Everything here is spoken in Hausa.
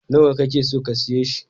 Nawa ka ke so ka siya shi?